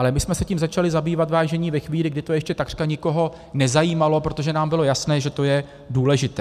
Ale my jsme se tím začali zabývat, vážení, ve chvíli, kdy to ještě takřka nikoho nezajímalo, protože nám bylo jasné, že to je důležité.